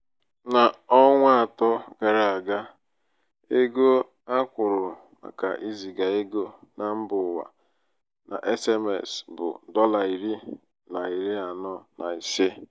n'ọnwa atọ gara aga ego a akwụrụ màkà iziga ego na mba ụwa na sms bụ dọla iri na iri anọ na isé.